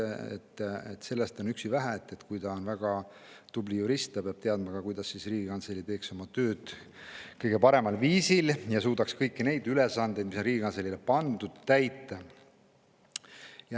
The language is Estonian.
Sellest on üksi vähe, kui on väga tubli jurist, ta peab ka teadma, kuidas Riigikantselei teeks oma tööd kõige paremal viisil ja suudaks kõiki kantseleile pandud ülesandeid täita.